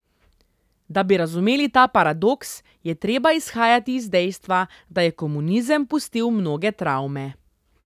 Da bi razumeli ta paradoks, je treba izhajati iz dejstva, da je komunizem pustil mnoge travme.